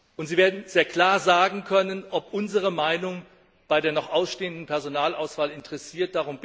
Und Sie werden sehr klar sagen können, ob unsere Meinung bei der noch ausstehenden Personalauswahl interessiert.